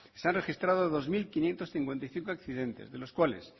se han registrado dos mil quinientos cincuenta y cinco accidentes de los cuales